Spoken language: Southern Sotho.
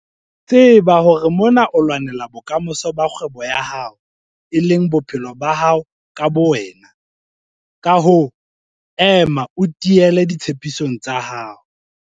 Tseba hore mona o lwanela bokamoso ba kgwebo ya hao, e leng bophelo ba hao ka bowena. Ka hoo, ema o tiile ditshepisong tsa hao.